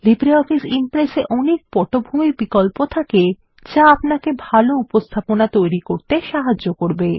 LibreOffice Impress এ অনেক পটভূমি বিকল্প থাকে যা আপনাকে ভাল উপস্থাপনা তৈরি করতে সাহায্য করবে